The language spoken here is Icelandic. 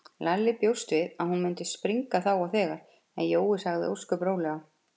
Lalli bjóst við að hún myndi springa þá og þegar, en Jói sagði ósköp rólega